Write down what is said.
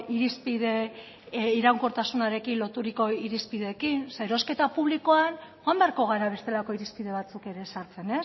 irizpide iraunkortasunarekin loturiko irizpideekin erosketa publikoan joan beharko gara bestelako irizpide batzuk ere sartzen